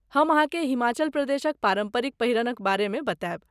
हम अहाँकेँ हिमाचल प्रदेशक पारम्परिक पहिरनक बारेमे बताएब।